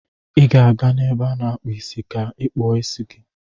Ị ga-aga n'ebe a na-akpụ ga kpụo isi gi.